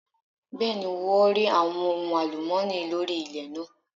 Bẹ́ẹ̀ni wọ́n rí àwọn ohun àlùmọ́nì lórí ilẹ̀ náà.